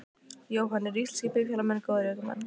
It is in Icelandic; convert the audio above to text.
Jóhann: Eru íslenskir bifhjólamenn góðir ökumenn?